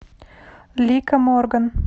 лика морган